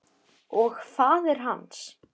Og faðir hans.